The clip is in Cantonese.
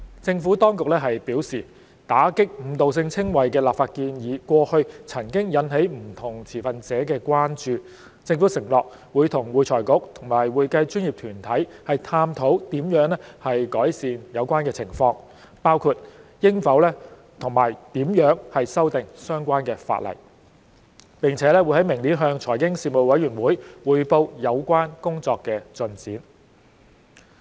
政府當局表示，打擊誤導性稱謂的立法建議過去曾引起不同持份者的關注，政府承諾與會財局及會計專業團體探討如何改善有關情況，包括應否和如何修訂相關法例，並於明年向財經事務委員會匯報有關工作的進展。